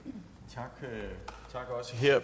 tak